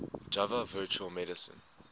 java virtual machine